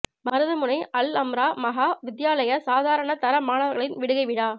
மருதமுனை அல் அம்றா மகா வித்தியாலய சாதாரண தர மாணவர்களின் விடுகை விழா